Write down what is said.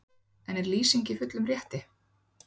En er Lýsing í fullum rétti?